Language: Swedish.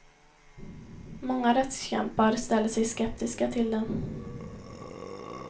Många rättskämpar ställer sig skeptiska till den.